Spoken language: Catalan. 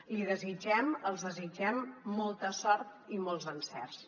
li desitgem els desitgem molta sort i molts encerts